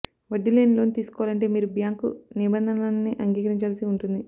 వడ్డీ లేని లోన్ తీసుకోవాలంటే మీరు బ్యాంకు నియమనిబంధనలన్నీ అంగీకరించాల్సి ఉంటుంది